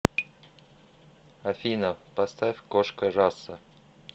афина поставь кошка раса